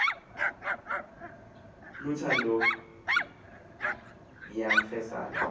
lutha ndo nayimfesane